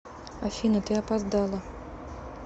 афина ты опоздала